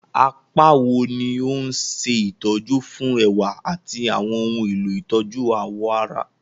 Apá wo ni ó ń ṣe ìtọ́jú fún ẹwà àti àwọn ohun èlò ìtọ́jú awọ ara?